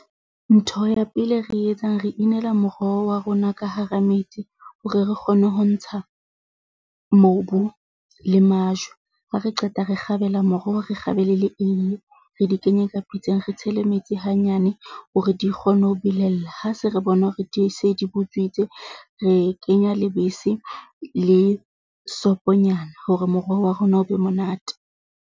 Ntho ya pele e re etsang re inela moroho wa rona ka hara metsi hore re kgone ho ntsha mobu le majwe. Ha re qeta re kgabela moroho, re kgabele le eiye, re di kenye ka pitseng, re tshele metsi hanyane hore di kgone ho belella. Ha se re bona hore di se di botswitse re kenya lebese le soponyana hore moroho wa rona o be monate.